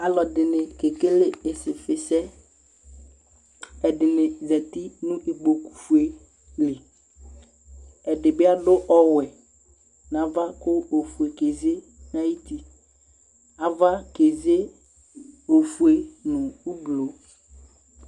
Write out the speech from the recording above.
ɔludini kɛkɛle ɩsifisɛ ɛdini zati nu ikpɔkuli fɛli ɛdibi ɔyɛ ku ɔfɛkezɛ aʋkɛzɛ ɔfɛ nu ɔglɔ